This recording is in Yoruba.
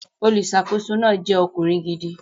Olùsàkóso náà jẹ́ ọkùnrin gidi